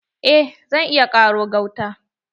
Eh zan iya ƙaro gauta.